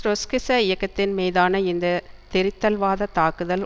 ட்ரொட்ஸ்கிச இயக்கத்தின் மீதான இந்த திரித்தல்வாத தாக்குதல்